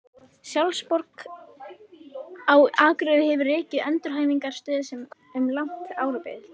Sjálfsbjörg á Akureyri hefur rekið endurhæfingarstöð um langt árabil.